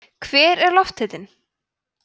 hver er lofthitinn